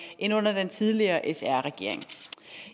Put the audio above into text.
end under den tidligere sr regering